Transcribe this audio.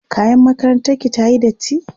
kayan makarantar ki tayi datti?